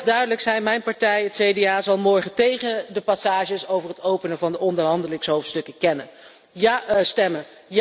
Laat ik heel erg duidelijk zijn, mijn partij, het CDA, zal morgen tegen de passages over het openen van de onderhandelingshoofdstukken stemmen.